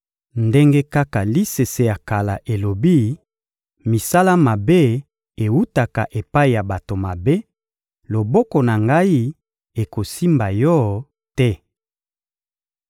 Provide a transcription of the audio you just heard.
Ndenge kaka lisese ya kala elobi: «Misala mabe ewutaka epai ya bato mabe,» loboko na ngai ekosimba yo te.